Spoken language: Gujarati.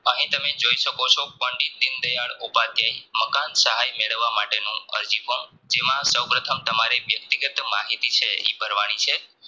અહીં તમે જોઈ શકો છો પંડિત દીનદયાળ ઉપાદ્યાય મકાન સહાય મેળવવા માટેનું અરજી form જેમાં સ્વ પ્રથમ તમારે વ્યક્તિગત માહિતી છે ઈ ભારવાની છે